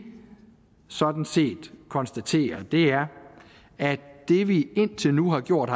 sådan set konstaterer er at det vi indtil nu har gjort